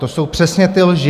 To jsou přesně ty lži.